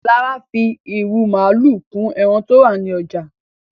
Lára fi irú màalu kún ẹran tó rà ní ọjà